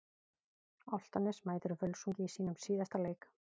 Álftanes mætir Völsungi í sínum síðasta leik.